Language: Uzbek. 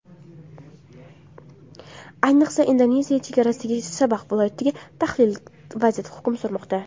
Ayniqsa Indoneziya chegarasidagi Sabax viloyatida tahlikali vaziyat hukm surmoqda.